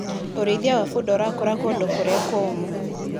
ũrĩithia wa bunda ũrakũra kũndũ kũrĩa kũmũ.